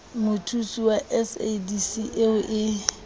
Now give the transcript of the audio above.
mothusi wa sadc eo e